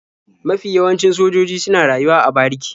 Mafi yawancin sojoji suna rayuwa a bariki.